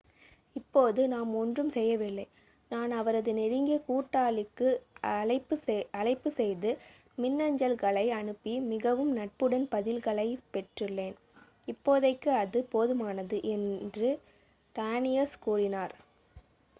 """இப்போது நாம் ஒன்றும் செய்யவில்லை. நான் அவரது நெருங்கிய கூட்டாளிக்கு அழைப்பு செய்து மின்னஞ்சல்களை அனுப்பி மிகவும் நட்புடன் பதில்களைப் பெற்றுள்ளேன். இப்போதைக்கு அது போதுமானது." என்று டானியஸ் கூறினார்.